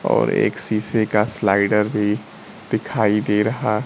और एक शीशे का स्लाइडर भी दिखाई दे रहा--